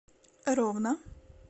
ровно